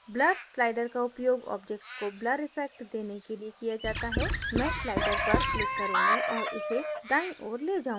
blur slider का उपयोग object को blur effect देने के लिए किया जाता है मैं slider पर click करूँगी और इसे दाईं ओर the जाऊँगी